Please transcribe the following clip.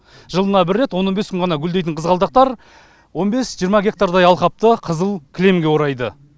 жылына бір рет он он бес күн ғана гүлдейтін қызғалдақтар он бес жиырма гектардай алқапты қызыл кілемге орайды